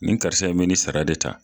Nin karisa in bɛ ni sara de ta.